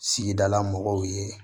Sigila mɔgɔw ye